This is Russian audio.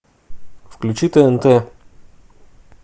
включи тнт